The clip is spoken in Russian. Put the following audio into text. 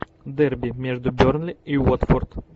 дерби между бернли и уотфорд